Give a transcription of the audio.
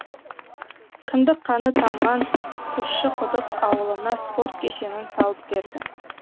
кіндік қаны тамған тұщықұдық ауылына спорт кешенін салып берді